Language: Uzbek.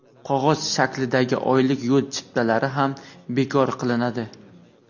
qog‘oz shaklidagi oylik yo‘l chiptalari ham bekor qilinadi.